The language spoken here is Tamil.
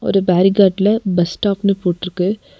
ஒரு பேரிகாட்ல பஸ் ஸ்டாப்னு போட்ருக்கு.